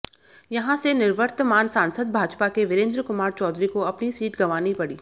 यहां से निवर्तमान सांसद भाजपा के वीरेंद्र कुमार चौधरी को अपनी सीट गंवानी पडी